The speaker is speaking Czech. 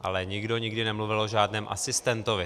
Ale nikdo nikdy nemluvil o žádném asistentovi.